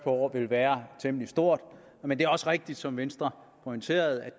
år vil være temmelig stort men det er også rigtigt som venstre pointerer at